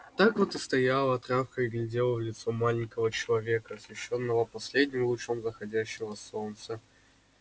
так вот и стояла травка и глядела в лицо маленького человека освещённого последним лучом заходящего солнца